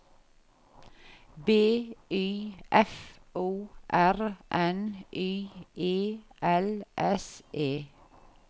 B Y F O R N Y E L S E